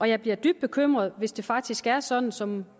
jeg bliver dybt bekymret hvis det faktisk er sådan som